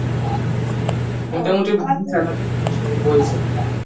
মোটামুটি ভালোই salary বলছে